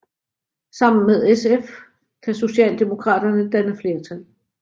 Sammen med SF kan Socialdemokraterne danne flertal